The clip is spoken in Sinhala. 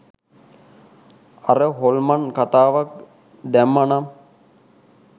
අර හොල්මන් කතාවත් දැම්මා නම්